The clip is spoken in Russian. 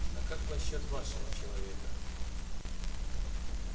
а как насчёт вашего человека